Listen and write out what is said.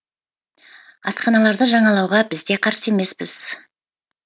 асханаларды жаңалауға біз де қарсы емеспіз